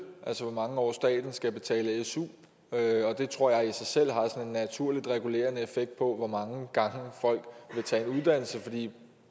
altså hvor mange år staten skal betale su og det tror jeg i sig selv har sådan en naturlig regulerende effekt på hvor mange gange folk vil tage en uddannelse fordi